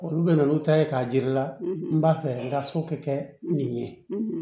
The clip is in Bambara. Olu bɛ na n'u ta ye k'a jir'i la n b'a fɛ n ka so kɛ nin ye